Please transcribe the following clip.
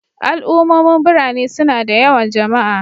Al'ummomin birane suna da yawan jama'a